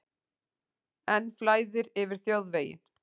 Enn flæðir yfir þjóðveginn